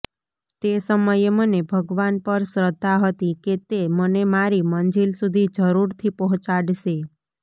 તે સમયે મને ભગવાન પર શ્રદ્ધા હતી કે તે મને મારી મંજિલ સુધી જરૂરથી પહાંચાડશે